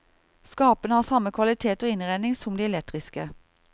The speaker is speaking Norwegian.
Skapene har samme kvalitet og innredning som de elektriske.